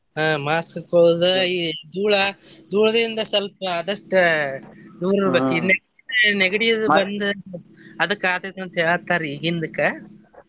ಆಹ್ mask ಹಾಕೋಳುದು ಈ ದೂಳಾ ದೂಳದಿಂದ ಸ್ವಲ್ಪ ಆದಷ್ಟ ದೂರ್ ಇರಬೇಕ್ ನೆಗಡಿ ಅದು ಬಂದ್ ಅದಕ್ಕ ಆಗ್ತೆತಿ ಅಂತ ಹೇಳಾತಾರಿ ಹಿಂದಕ್.